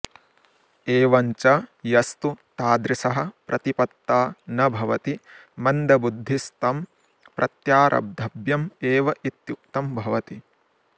एवञ्च यस्तु तादृशः प्रतिपत्ता न भवति मन्दबुद्धिस्तं प्रत्यारब्धव्यमेवेत्युक्तं भवति